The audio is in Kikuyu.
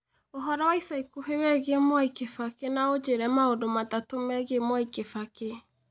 Ũhoro wa ica ikuhĩ wĩgiĩ Mwai Kibaki na ũnjĩĩre maũndũ matatũ megiĩ Mwai Kibaki